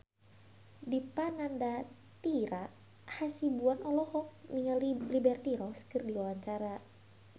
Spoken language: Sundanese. Dipa Nandastyra Hasibuan olohok ningali Liberty Ross keur diwawancara